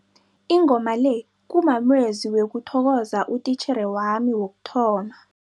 Ingoma le kumamezwi wokuthokoza utitjhere wami wokuthoma.